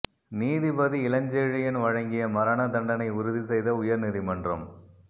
நீதிபதி இளஞ்செழியன் வழங்கிய மரண தண்டனையை உறுதி செய்த உயர் நீதிமன்றம்